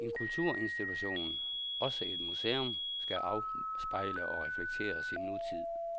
En kulturinstitution, også et museum, skal afspejle og reflektere sin nutid.